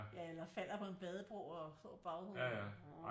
Ja eller falder på en badebro og slår baghovedet ikke